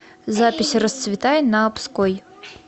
запись расцветай на обской